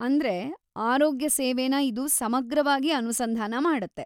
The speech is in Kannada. ಅಂದ್ರೆ ಆರೋಗ್ಯ ಸೇವೆನ ಇದು ಸಮಗ್ರವಾಗಿ ಅನುಸಂಧಾನ ಮಾಡತ್ತೆ.